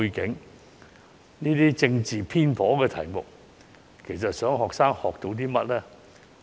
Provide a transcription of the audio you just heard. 究竟討論這些政治偏頗的題目想學生學到些甚麼呢？